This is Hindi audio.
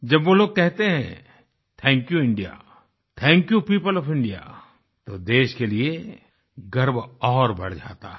जब वो लोग कहते हैं thank you India thank you people of India तो देश के लिए गर्व और बढ़ जाता है